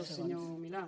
del senyor milà